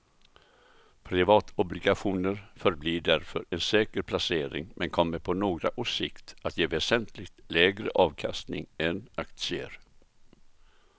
Privatobligationer förblir därför en säker placering men kommer på några års sikt att ge väsentligt lägre avkastning än aktier.